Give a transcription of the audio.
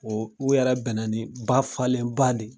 Ɔ u yɛrɛ bɛnna ni ba falenba de ye